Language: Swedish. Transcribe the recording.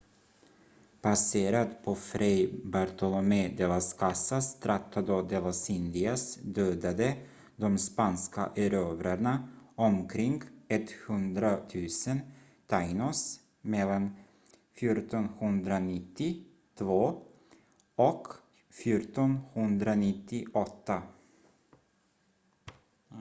baserat på fray bartolomé de las casas tratado de las indias dödade de spanska erövrarna omkring 100 000 taínos mellan 1492 och 1498